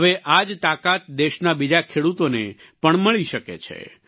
હવે આ જ તાકાત દેશના બીજા ખેડૂતોને પણ મળી છે